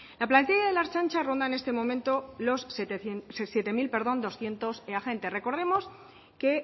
la plantilla de la ertzaintza ronda en este momento los siete mil doscientos agentes recordemos que